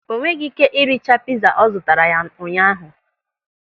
O nweghị ị́ké iricha pịza ọ zụtara ya ụnyaahụ.